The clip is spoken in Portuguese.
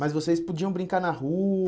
Mas vocês podiam brincar na